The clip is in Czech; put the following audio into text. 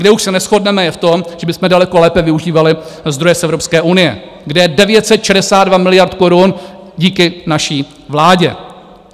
Kde už se neshodneme je v tom, že bychom daleko lépe využívali zdroje z Evropské unie, kde je 962 miliard korun díky naší vládě.